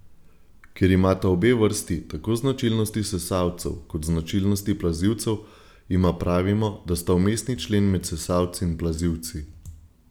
Ker imata obe vrsti tako značilnosti sesalcev kot značilnosti plazilcev, jima pravimo, da sta vmesni člen med sesalci in plazilci.